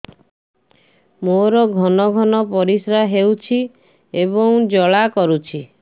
ମୋର ଘନ ଘନ ପରିଶ୍ରା ହେଉଛି ଏବଂ ଜ୍ୱାଳା କରୁଛି